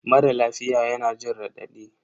Mara lafiya yana jin raɗadi